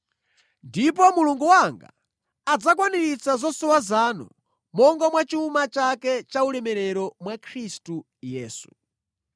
Ndipo Mulungu wanga adzakwaniritsa zosowa zanu monga mwa chuma chake chaulemerero mwa Khristu Yesu.